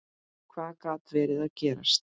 Hvað gat verið að gerast?